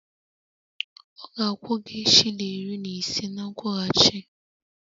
Ọ ga-akwụ gị shilling iri na ise na nkwụghachi